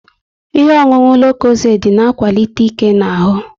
Ihe ọṅụṅụ lokozed na akwalite ike n'ahu